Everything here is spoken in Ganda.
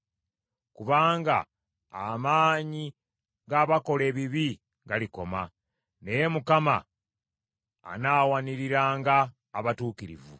kubanga amaanyi g’abakola ebibi galikoma, naye Mukama anaawaniriranga abatuukirivu.